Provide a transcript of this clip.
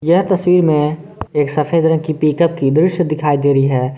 यह तस्वीर में एक सफेद रंग के पिकअप की दृश्य दिखाई दे रही है।